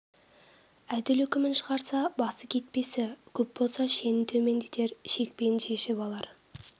әділ үкімін шығарса басы кетпесі көп болса шенін төмендетер шекпенін шешіп алар